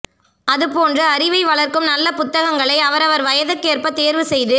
அதுபோன்று அறிவை வளர்க்கும் நல்ல புத்தகங்களை அவரவர் வயதுகேற்ப தேர்வு செய்து